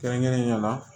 Kɛrɛnkɛrɛnnenya la